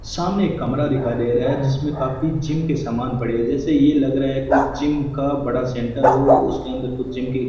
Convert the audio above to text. सामने एक कमरा दिखाई दे रहा है जिसमें काफी जिम के सामान पड़े है जैसे ये लग रहा है कोई जिम का बड़ा सेंटर हो उसके अंदर कुछ जिम के --